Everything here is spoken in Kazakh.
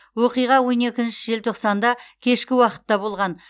оқиға он екінші желтоқсанда кешкі уақытта болған